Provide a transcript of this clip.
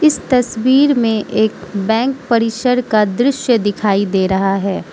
इस तस्वीर में एक बैंक परिसर का दृश्य दिखाई दे रहा है।